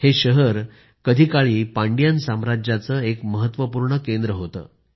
हे शहर कधी काळी पांडियन साम्राज्याचं एक महत्वपूर्ण केंद्र होतं